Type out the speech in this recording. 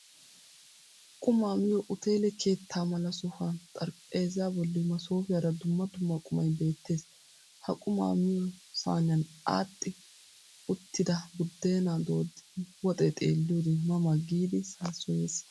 Qumaa miyo uteele keettaa mala sohuwaan xaraphpheezza bolli masoofiyara dumma dumma qumay beettees. Ha qumaa miyo saniyan aadhdhi uttida buddenaa dooddida woxxee xeelliyode ma ma giid saassoyees.